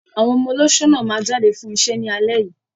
Àwọn ọmọ olóṣó náà máa jáde fún iṣẹ́ ní alẹ́ yìí.